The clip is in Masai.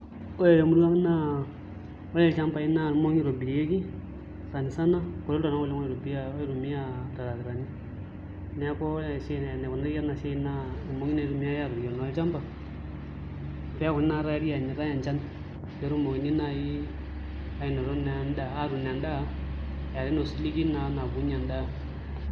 Ore temurua ang' naa ore ilchambai naa irmong'i oshi itobirieki sani sana, kuti iltung'anak oitumia iltarakitani neeku ore esiai enikunari ena siai naa irmong'i itumiai aaturie naa olchamba pee eekuni naa tayari eenyitai enchan pee etumi naai atuun naa endaa eetai osiligi naa obulunyie endaa.